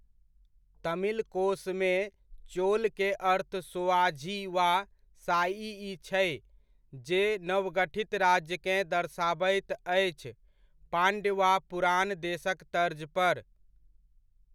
तमिल कोशमे चोल के अर्थ सोआझी वा साइइ छै जे नवगठित राज्यकेँ दर्शाबैत अछि, पांड्य वा पुरान देशक तर्ज पर।